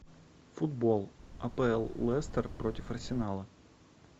футбол апл лестер против арсенала